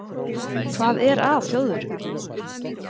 Hvað er að Þjóðverjum?